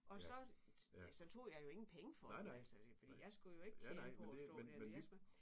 Og så ja så tog jeg jo ingen penge for dem altså fordi jeg skulle jo ikke tjene på at stå der jeg skulle ikke